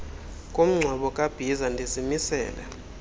komngcwabo kabhiza ndizimisele